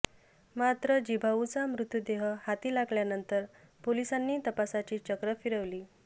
मात्र जिभाऊचा मृतदेह हाती लागल्यानंतर पोलिसांनी तपासाची चक्र फिरवली